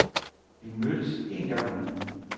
Vi mødtes en gang om ugen.